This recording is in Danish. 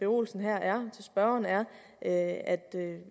olsen her er at